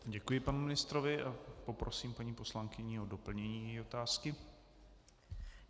Děkuji panu ministrovi a poprosím paní poslankyni o doplnění její otázky.